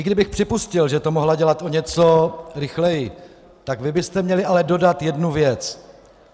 I kdybych připustil, že to mohla dělat o něco rychleji, tak vy byste měli ale dodat jednu věc.